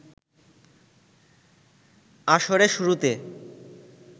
আসরে শুরুতে